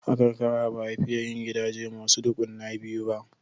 A karkara ba a fiye yin gidaje masu ɗukuna biyu ba.